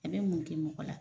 A bɛ mun kɛ mɔgɔ la?